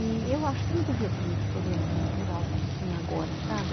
E eu acho que não devia ter muito programa cultural como tem agora, sabe?